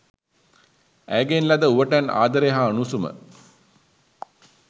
ඇයගෙන් ලද උවටැන් ආදරය හා උණුසුම